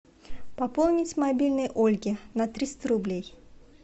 пополнить мобильный ольги на триста рублей